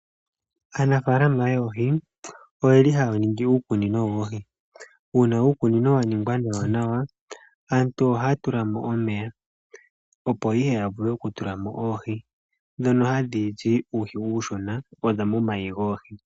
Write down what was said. Aanafaalama yoohi oyeli haya ningi uukunino woohi, uuna uukunino waningwa nawanawa aantu ohaya tulamo omeya opo ihe yavule okutulamo oohi dhono hadhi zi uuhi uushona waza momayi goohi.